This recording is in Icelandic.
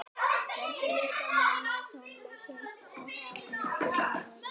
Fjöldi listamanna á tónleikum að Hamragörðum